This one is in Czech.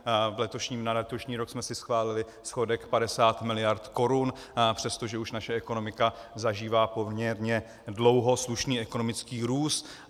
Na letošní rok jsme si schválili schodek 50 miliard korun, přestože už naše ekonomika zažívá poměrně dlouho slušný ekonomický růst.